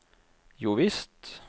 jovisst